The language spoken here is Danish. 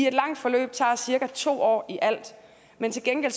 et langt forløb tager cirka to år i alt men til gengæld